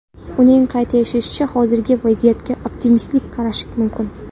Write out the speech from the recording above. Uning qayd etishicha, hozirgi vaziyatga optimistik qarash mumkin.